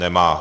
Nemá.